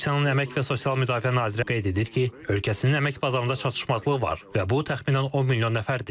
Rusiyanın əmək və sosial müdafiə nazirliyi qeyd edir ki, ölkəsinin əmək bazarında çatışmazlıq var və bu təxminən 10 milyon nəfərdir.